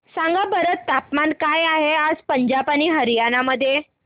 सांगा बरं तापमान काय आहे आज पंजाब आणि हरयाणा मध्ये